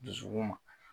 Dusukun ma